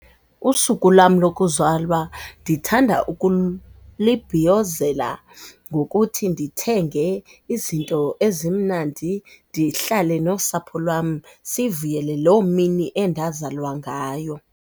Usuku lam lokuzalwa ndithanda libhiyozela ngokuthi ndithenge izinto ezimnandi, ndihlale nosapho lwam sivuyele loo mini endazalwa ngayo.